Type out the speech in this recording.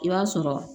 I b'a sɔrɔ